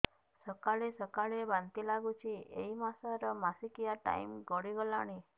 ସକାଳେ ସକାଳେ ବାନ୍ତି ଲାଗୁଚି ଏଇ ମାସ ର ମାସିକିଆ ଟାଇମ ଗଡ଼ି ଗଲାଣି